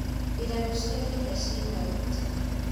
mbirarũ cia kenya ciĩ haiti